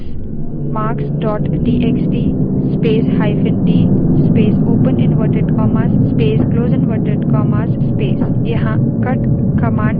cut space marks dot txt space hyphen d space open inverted commas space close inverted commas space